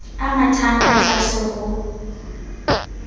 a mathang ka tlase ho